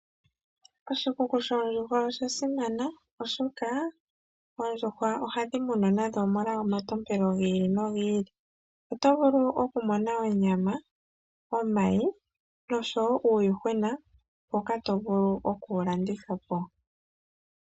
Oshikuku shoondjuhwa oshasimana oshoka, oondjuhwa ohadhi munwa nadho molwa omatompelo gi ili nogi ili , oto vulu okumona onyama, omayi noshowo uuyuhwena mboka tovulu oku wu landithapo.